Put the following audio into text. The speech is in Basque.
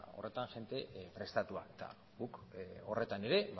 horretan jende prestatua eta guk horretan ere